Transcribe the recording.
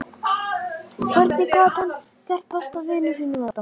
Hvernig gat hann gert besta vini sínum þetta?